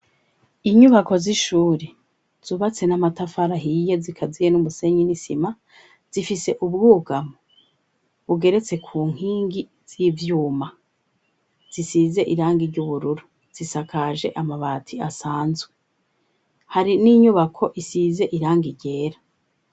Inyubako z'ishuri zubatse n'amatafari ahiye zikaziye n'umusenyi n' isima, zifise ubwugamo bugeretse ku nkingi z'ivyuma zisize irangi ry'ubururu zisakaje amabati asanzwe. Hari n'inyubako isize irangi ryera.